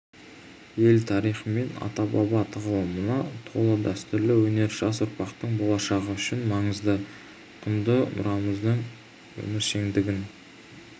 ел тарихы мен ата-баба тағылымына толы дәстүрлі өнер жас ұрпақтың болашағы үшін маңызды құнды мұрамыздың өміршеңдігін